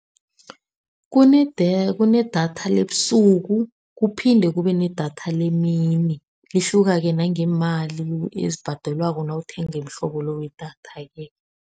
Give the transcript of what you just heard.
Kunedatha lebusuku, kuphinde kube nedatha lemini. Lihluka-ke nangeemali ezibhadalwako nawuthenga umhlobo lo wedatha-ke.